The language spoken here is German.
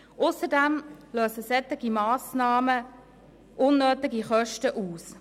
Ausserdem lösen solche Massnahmen unnötige Kosten aus.